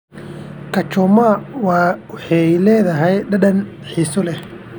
Kachoma waxay leedahay dhadhan xiiso leh.